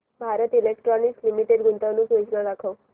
Bharat electronics limited गुंतवणूक योजना दाखव